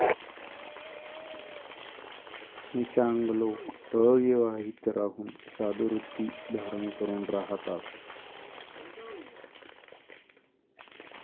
निशांग लोक अविवाहित राहून साधुवृत्ती धारण करून राहतात ।